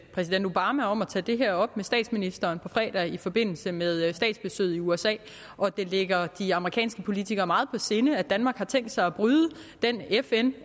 præsident obama om at tage det her op med statsministeren på fredag i forbindelse med statsbesøget i usa og at det ligger de amerikanske politikere meget på sinde at danmark har tænkt sig at bryde den fn